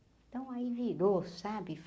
Então aí virou, sabe?